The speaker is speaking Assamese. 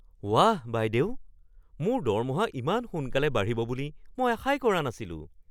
ৱাহ, বাইদেউ! মোৰ দৰমহা ইমান সোনকালে বাঢ়িব বুলি আশাই কৰা নাছিলোঁ!